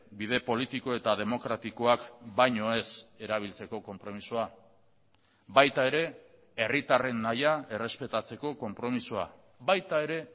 bide politiko eta demokratikoak baino ez erabiltzeko konpromisoa baita ere herritarren nahia errespetatzeko konpromisoa baita ere